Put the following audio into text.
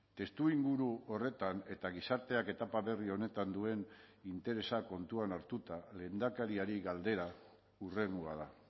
testuinguru horretan eta gizarteak etapa berri honetan duen interesak kontuan hartuta lehendakariari galdera hurrengoa da